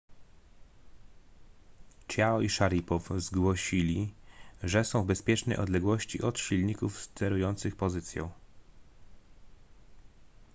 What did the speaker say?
chiao i szaripow zgłosili że są w bezpiecznej odległości od silników sterujących pozycją